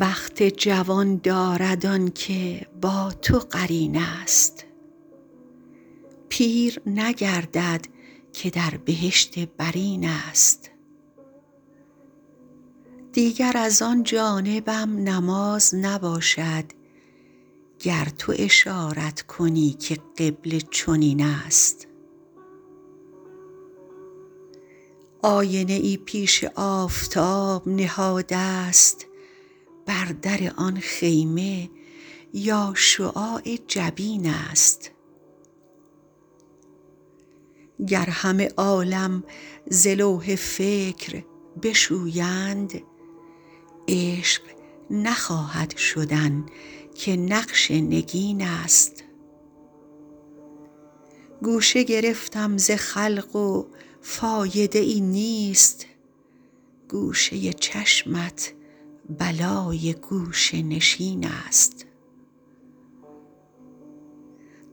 بخت جوان دارد آن که با تو قرین است پیر نگردد که در بهشت برین است دیگر از آن جانبم نماز نباشد گر تو اشارت کنی که قبله چنین است آینه ای پیش آفتاب نهادست بر در آن خیمه یا شعاع جبین است گر همه عالم ز لوح فکر بشویند عشق نخواهد شدن که نقش نگین است گوشه گرفتم ز خلق و فایده ای نیست گوشه چشمت بلای گوشه نشین است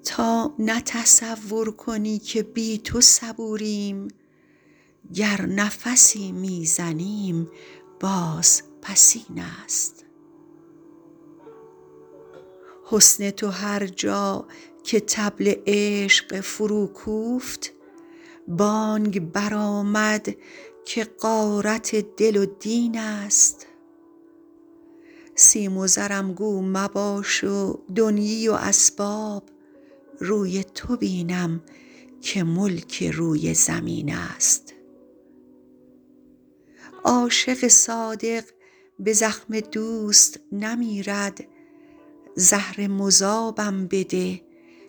تا نه تصور کنی که بی تو صبوریم گر نفسی می زنیم بازپسین است حسن تو هر جا که طبل عشق فروکوفت بانگ برآمد که غارت دل و دین است سیم و زرم گو مباش و دنیی و اسباب روی تو بینم که ملک روی زمین است عاشق صادق به زخم دوست نمیرد زهر مذابم بده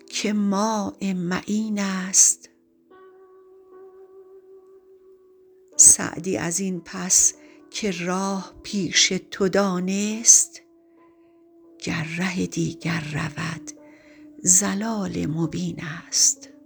که ماء معین است سعدی از این پس که راه پیش تو دانست گر ره دیگر رود ضلال مبین است